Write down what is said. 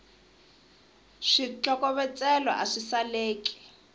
switlokovetselo a swi saleki